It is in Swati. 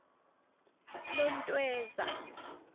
lontweza